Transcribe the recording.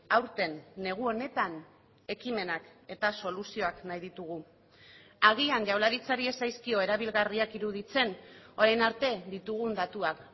aurten negu honetan ekimenak eta soluzioak nahi ditugu agian jaurlaritzari ez zaizkio erabilgarriak iruditzen orain arte ditugun datuak